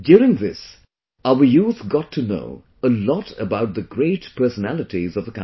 During this, our youth got to know a lot about the great personalities of the country